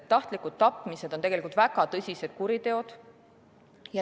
Tahtlikud tapmised on väga tõsised kuriteod.